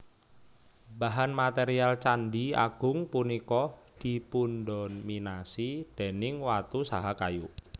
Bahan material Candhi Agung punika dipundominasi déning watu saha kayu